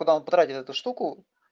когда он потратил на эту штуку